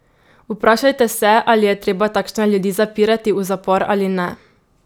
Vprašajte se, ali je treba takšne ljudi zapirati v zapor ali ne?